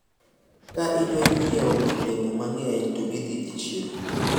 ka idwa nyiewo olemo mang'eny to idhi e chiro